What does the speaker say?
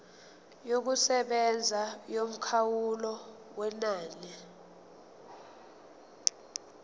yokusebenza yomkhawulo wenani